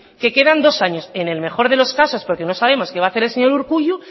que quedan dos años en el mejor de los casos porque no sabemos qué va hacer el señor urkullu